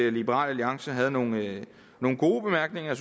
at liberal alliance havde nogle nogle gode bemærkninger